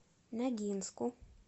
ногинску